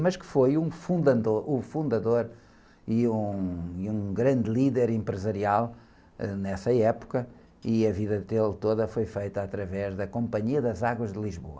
Mas que foi um fundador, o fundador e um, um grande líder empresarial, ãh, nessa época, e a vida dele toda foi feita através da Companhia das Águas de Lisboa.